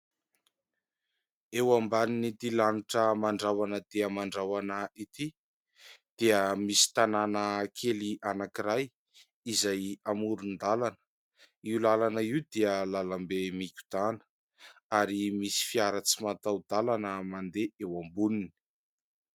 Eo ambanin'ity lanitra mandrahona dia mandrahona ity dia misy tanàna kely anankiray izay amoron-dalana ; io lalana io dia lalam-be mikodana ary misy fiara tsy mataho-dalana mandeha eo amboniny.